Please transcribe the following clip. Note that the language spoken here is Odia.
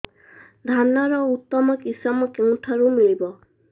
ଧାନର ଉତ୍ତମ କିଶମ କେଉଁଠାରୁ ମିଳିବ